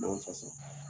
N'an fasa